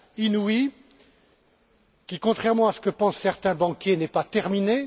inouïe et qui, contrairement à ce que pensent certains banquiers, n'est pas terminée.